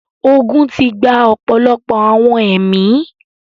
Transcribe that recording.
ogun ti gba ọ̀pọ̀lọpọ̀ àwọn ẹ̀mí.